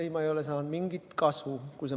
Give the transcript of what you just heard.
Ei, me ei ole saanud mingit kasu.